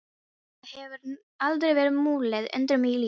Það hefur aldrei verið mulið undir mig í lífinu.